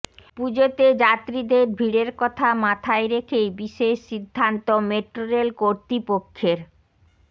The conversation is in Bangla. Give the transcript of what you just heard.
পূজোতে যাত্রীদের ভিড়ের কথা মাথায় রেখেই বিশেষ সিদ্ধান্ত মেট্রোরেল কর্তৃপক্ষের